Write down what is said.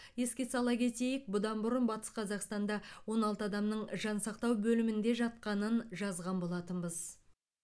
еске сала кетейік бұдан бұрын батыс қазақстанда он алты адамның жансақтау бөлімінде жатқанын жазған болатынбыз